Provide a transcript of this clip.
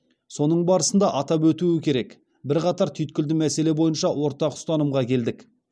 соның барысында атап өтуі керек бірқатар түйткілді мәселе бойынша ортақ ұстанымға келдік